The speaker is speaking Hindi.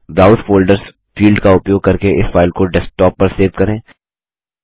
ब्राउज़ फ़ोल्डर्स फील्ड का उपयोग करके इस फाइल को डेस्कटॉप पर सेव करें